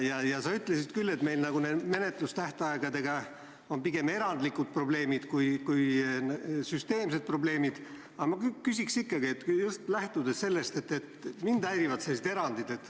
Ja sa ütlesid küll, et meil on menetlustähtaegadega pigem erandlikud probleemid kui süsteemsed probleemid, aga ma küsin ikkagi just lähtudes sellest, et mind häirivad sellised erandid.